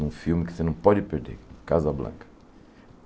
num filme que você não pode perder, Casa Blanca.